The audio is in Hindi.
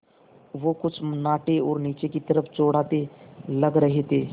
वो कुछ नाटे और नीचे की तरफ़ चौड़ाते लग रहे थे